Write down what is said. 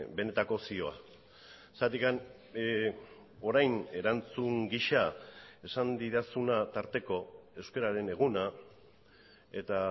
benetako zioa zergatik orain erantzun gisa esan didazuna tarteko euskararen eguna eta